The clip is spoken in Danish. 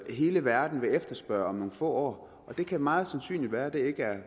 hele verden vil efterspørge om få år og det kan meget sandsynligt være at det ikke er